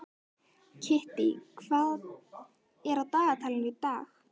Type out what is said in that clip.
Kittý, hvað er á dagatalinu í dag?